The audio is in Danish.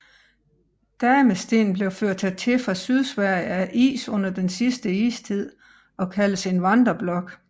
Damestenen blev ført hertil fra Sydsverige af is under den sidste istid og kaldes en vandreblok